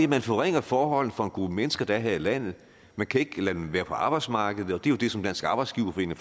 man forringer forholdene for en gruppe mennesker der er her i landet man kan ikke lade dem være på arbejdsmarkedet og det er jo det som dansk arbejdsgiverforening